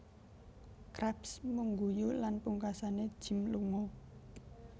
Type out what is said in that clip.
Krabs mung guyu lan pungkasane Jim lunga